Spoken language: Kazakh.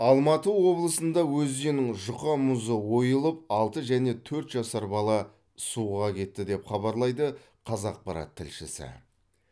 алматы облысында өзеннің жұқа мұзы ойылып алты және төрт жасар бала суға кетті деп хабарлайды қазақпарат тілшісі